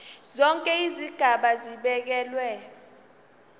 zonke izigaba zibekelwe